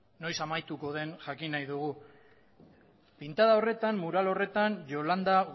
noiz amaituko den jakin nahi dugu pintada horretan yolanda